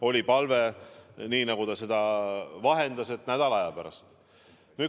Oli palve, nii nagu ta seda vahendas, et ta saaks tulla nädala aja pärast.